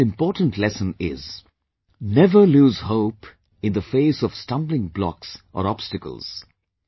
The second important lesson is never lose hope in the face of stumbling blocks or obstacles